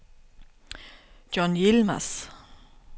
John Yilmaz